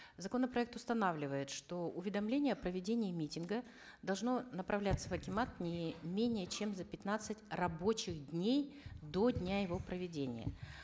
законопроект устанавливает что уведомление о проведении митинга должно направляться в акимат не менее чем за пятнадцать рабочих дней до дня его проведения